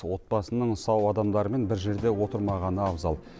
отбасының сау адамдарымен бір жерде отырмағаны абзал